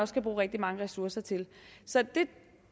skal bruge rigtig mange ressourcer til så